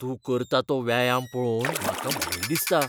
तूं करता तो व्यायाम पळोवन म्हाका भंय दिसता.